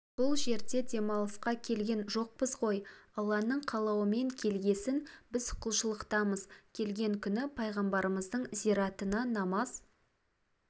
бұл жерге демалысқа келген жоқпыз ғой алланың қалауымен келгесін біз құлшылықтамыз келген күні пайғарымыздың зиратына намаз